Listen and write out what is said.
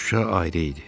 Şuşa ayrı idi.